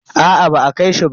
Aa ba a kai shi ba.